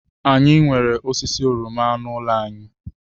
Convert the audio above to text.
Anyị nwere osisi oroma n'ụlọ anyị.